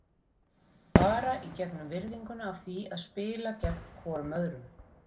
Bara í gegnum virðinguna af því að spila gegn hvorum öðrum.